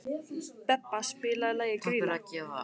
Bebba, spilaðu lagið „Grýla“.